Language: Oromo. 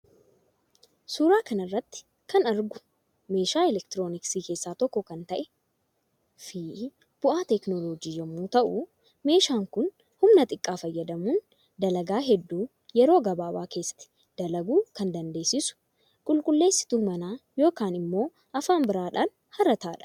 Suuraa kanarratti km argu meeshaa elektirooniksii kessaa tokko kan ta'een fi bu'aa teeknooloojii yommuu ta'u meeshaan Kuni human xiqqaa fayyadamuun dalaga heddu yeroo gababa kessatti falaguu kan dandeessisu qulqulleessiyi mana yookan immo afaan biraan harataadha.